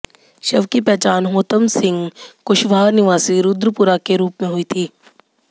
शव की पहचान होतम सिंह कुशवाह निवासी रुद्रपुरा के रूप में हुई थी